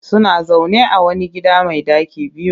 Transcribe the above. Suna zaune a wani gida mai ɗaki biyu